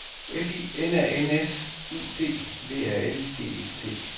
F I N A N S U D V A L G E T